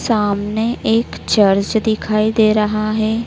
सामने एक चर्च दिखाई दे रहा है।